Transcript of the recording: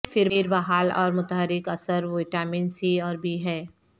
پھر بحال اور متحرک اثر وٹامن سی اور بی ہے